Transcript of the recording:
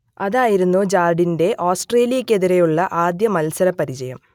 അതായിരുന്നു ജാർഡിന്റെ ഓസ്ട്രേലിയക്കെതിരായുള്ള ആദ്യ മത്സരപരിചയം